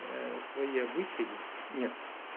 свои обычаи нет